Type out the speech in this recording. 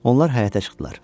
Onlar həyətə çıxdılar.